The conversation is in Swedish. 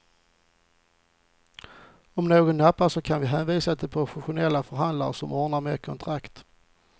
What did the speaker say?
Om någon nappar så kan vi hänvisa till professionella förhandlare som ordnar med kontrakt.